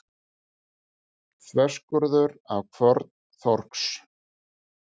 Þverskurður af kvörn þorsks.